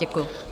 Děkuju.